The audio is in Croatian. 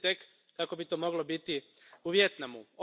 Zamislite tek kako bi to moglo biti u Vijetnamu.